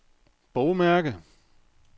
bogmærke